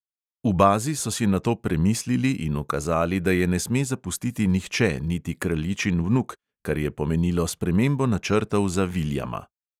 V bazi so si nato premislili in ukazali, da je ne sme zapustiti nihče, niti kraljičin vnuk, kar je pomenilo spremembo načrtov za viljama.